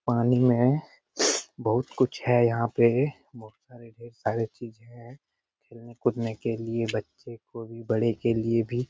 पानी में बहुत कुछ है यहाँ पे बहुत सारे ढ़ेर सारे चीज हैं खेलने कूदने के लिए बच्चों को भी बड़े के लिए भी।